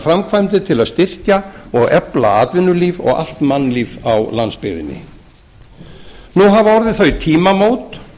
framkvæmdir til að styrkja og efla atvinnulíf og allt mannlíf á landsbyggðinni nú hafa orðið þau tímamót